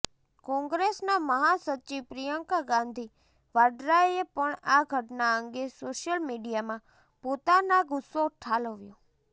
કોંગ્રેસના મહાસચિવ પ્રિયંકા ગાંધી વાડ્રાએ પણ આ ઘટના અંગે સોશિયલ મીડિયામાં પોતાના ગુસ્સો ઠાલવ્યો